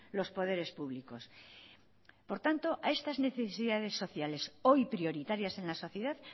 los poderes públicos por tanto a estas necesidades sociales hoy prioritarias en la sociedad